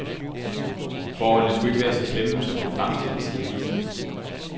Forholdene skulle ikke være så slemme, som det fremstilles i avisen.